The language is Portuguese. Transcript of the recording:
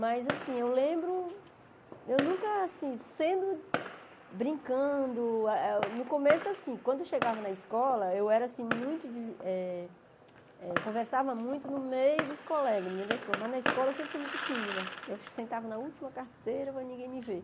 Mas, assim, eu lembro, eu nunca, assim, sendo, brincando, eh ah no começo, assim, quando eu chegava na escola, eu era, assim, muito, eh eh conversava muito no meio dos colegas, mas na escola eu sempre fui muito tímida, eu sentava na última carteira para ninguém me ver.